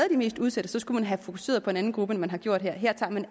i de mest udsatte skulle man have fokuseret på en anden gruppe end man har gjort her her tager man